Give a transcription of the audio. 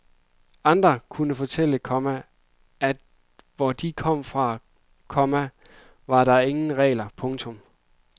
Andre kunne fortælle, komma at hvor de kom fra, komma var der ingen regler. punktum